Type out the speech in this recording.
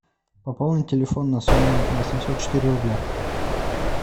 пополнить телефон на сумму восемьсот четыре рубля